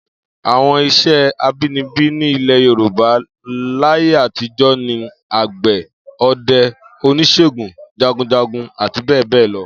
Àwo̩n is̩é̩ abínibí ní ilè̩ Yorùbá láyé àtijó̩ ni àgbè̩, o̩de̩, onís̩ègùn, jagunjagun àti bé̩è̩ bé̩è̩ lo̩